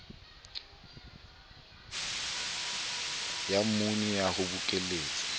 ya mmuni ya ho bokelletsa